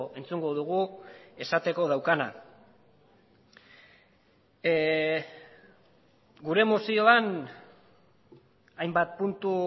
entzungo dugu esateko daukana gure mozioan hainbat puntu